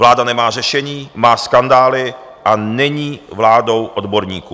Vláda nemá řešení, má skandály a není vládou odborníků.